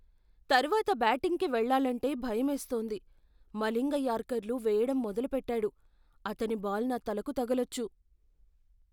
తర్వాత బ్యాటింగ్కి వెళ్లాలంటే భయమేస్తోంది. మలింగ యార్కర్లు వేయడం మొదలుపెట్టాడు, అతని బాల్ నా తలకు తగలొచ్చు.